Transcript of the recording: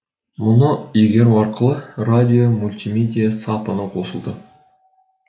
мұны игеру арқылы радио мультимедия сапыны қосылды